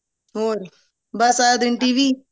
ਹੋਰ ਬਸ ਸਾਰਾ ਦਿਨ TV